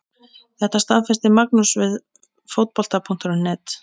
Þetta staðfesti Magnús við Fótbolta.net.